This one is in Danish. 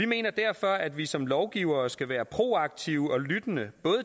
mener derfor at vi som lovgivere skal være proaktive og lytte